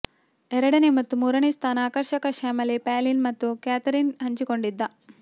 ಎರಡನೇ ಮತ್ತು ಮೂರನೇ ಸ್ಥಾನ ಆಕರ್ಷಕ ಶ್ಯಾಮಲೆ ಪಾಲಿನ್ ಮತ್ತು ಕ್ಯಾಥರೀನ್ ಹಂಚಿಕೊಂಡಿದ್ದ